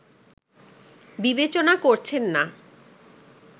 বিবেচনা করছেন না